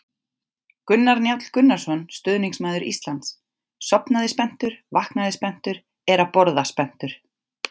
Gunnar Njáll Gunnarsson, stuðningsmaður Íslands: Sofnaði spenntur, vaknaði spenntur, er að borða spenntur!